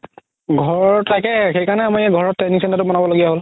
ঘৰ তাকেই সেই কাৰণে আমাৰ ঘৰত training center তো বনাব লগিয়া হ'ল